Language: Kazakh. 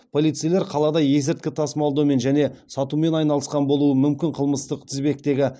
полицейлер қалада есірткі тасымалдаумен және сатумен айналысқан болуы мүмкін қылмыстық тізбектегі